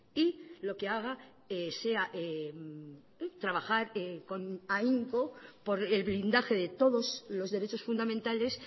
y lo que haga sea trabajar con ahínco por el blindaje de todos los derechos fundamentales